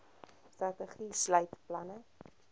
strategie sluit planne